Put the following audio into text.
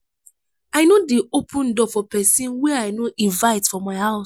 i no dey open door for pesin wey i no invite for my house.